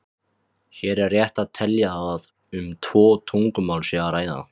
Hér er rétt að telja að um tvö tungumál sé að ræða.